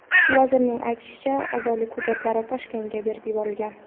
Vazirning aytishicha, a’zolik hujjatlari Toshkentga berib yuborilgan.